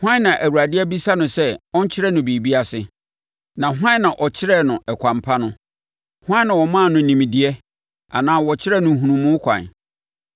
Hwan na Awurade abisa no sɛ ɔnkyerɛ no biribi ase, na hwan na ɔkyerɛɛ no ɛkwan pa no? Hwan na ɔmaa no nimdeɛ anaa ɔkyerɛɛ no nhunumu kwan?